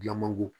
Dilan mangoro